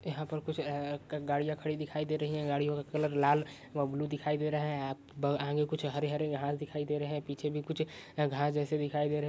यहाँ पर कुछ ए गाड़ियाँ खड़ी दिखाई दे रही हैं गाड़ियों का कलर लाल व ब्लू दिखाई दे रहा है आगे कुछ हरे-हरे घास दिखाई दे रहे है पीछे भी कुछ घास जैसे दिखाई दे रहे है।